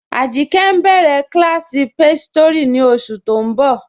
Ajìnkẹ́ ǹ béré kílásí páṣọtírí ní oṣù tó ǹ bọ.